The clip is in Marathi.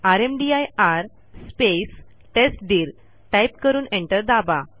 रामदीर स्पेस टेस्टदीर टाईप करून एंटर दाबा